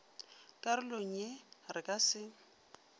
karolong ye re ka se